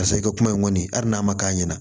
Ka sɔrɔ i ka kuma in kɔni hali n'a ma k'a ɲɛna